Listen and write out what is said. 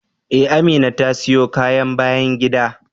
Ee, Amina ta siyo kayan bayan gida.